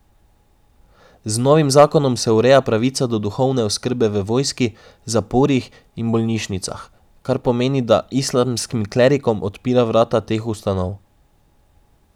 Z novim zakonom se ureja pravica do duhovne oskrbe v vojski, zaporih in bolnišnicah, kar pomeni, da islamskim klerikom odpira vrata teh ustanov.